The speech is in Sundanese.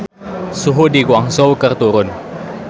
Suhu di Guangzhou keur turun